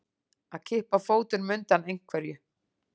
Að kippa fótunum undan einhverju